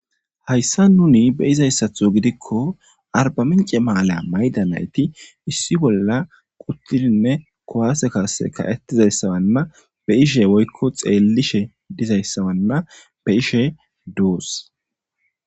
hayssa nuni be izayssatho gidikko arbamince maalya mayda nayti issi bolla quttidinne kowaase kaase ka7etizayssawanna be ishe woykko xeellishe dizayssawanna be ishe duus.